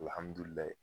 Alihamudulila